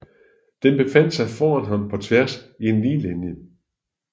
Den befandt sig foran ham på tværs i en lige linje